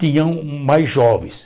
Tinham mais jovens.